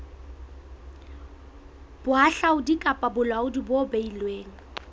bohahlaudi kapa bolaodi bo beilweng